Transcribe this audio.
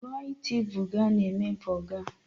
Joịtị borgà na-eme borgà.